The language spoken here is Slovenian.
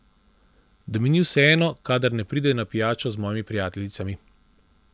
Da mi ni vseeno, kadar ne pride na pijačo z mojimi prijateljicami.